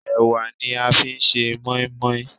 Ẹ̀wà ni a fi ń ṣe moin-moin.